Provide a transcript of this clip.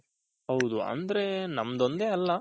ಹೌದು ನಮ್ದು ಒಂದೇ ಅಲ್ಲ